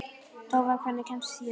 Tófa, hvernig kemst ég þangað?